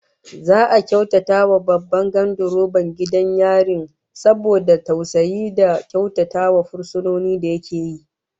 Za'a karrama Babban gandiroban gidan yarin saboda tausayi da kyautatawa fursunoni da yake yi